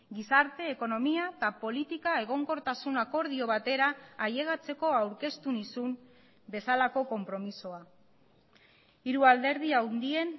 gizarte ekonomia eta politika egonkortasun akordio batera ailegatzeko aurkeztu nizun bezalako konpromisoa hiru alderdi handien